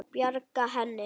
Bjarga henni?